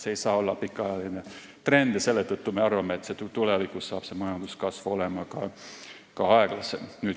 See ei saa olla aga pikaajaline trend ja seetõttu me arvame, et tulevikus on majanduskasv aeglasem.